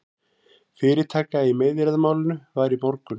Fyrirtaka í meiðyrðamálinu var í morgun